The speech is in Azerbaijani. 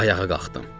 Ayağa qalxdım.